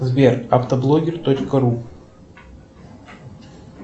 сбер автоблогер точка ру